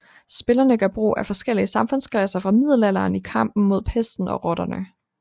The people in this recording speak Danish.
Spillerne gør brug af forskellige samfundsklasser fra middelalderen i kampen mod pesten og rotterne